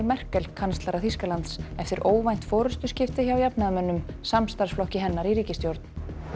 Merkel kanslara Þýskalands eftir óvænt forystuskipti hjá jafnaðarmönnum samstarfsflokki hennar í ríkisstjórn